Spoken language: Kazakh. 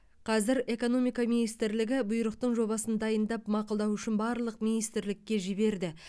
қазір экономика министрлігі бұйрықтың жобасын дайындап мақұлдау үшін барлық министрлікке жіберді